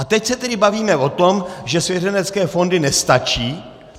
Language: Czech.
A teď se tedy bavíme o tom, že svěřenecké fondy nestačí.